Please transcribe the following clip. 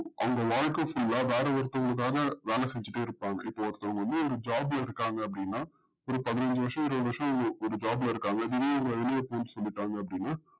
அவங்க வாழ்க்க full ல வேற ஒருத்தவங்கலுக்காக வேல செஞ்சிட்டே இருப்பாங்க இப்போ ஒருத்தவங்க வந்து ஒரு job ல இருக்காங்க அப்டின்ன ஒரு பதினைஞ்சு வருஷம் இருபது வருஷம் ஒரு job ல இருக்காங்க திடீர்னு வெளியபோனு சொல்லிட்டாங்க அப்டின்னா